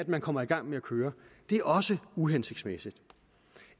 man kommer i gang med at køre det er også uhensigtsmæssigt